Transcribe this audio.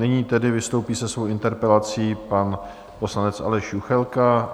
Nyní tedy vystoupí se svou interpelací pan poslanec Aleš Juchelka.